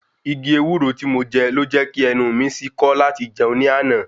Igi ewúro tí mo je ló jẹ́ kí ẹnu mi sí kọ́ láti jẹun ní àná